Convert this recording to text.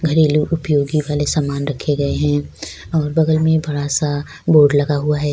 گھریلو اپیوگ والی سامان رکھے گئے ہیں اور بگل میں بڑا سا بورڈ لگا ہے